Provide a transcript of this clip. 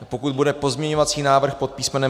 Pokud bude pozměňovací návrh pod písm.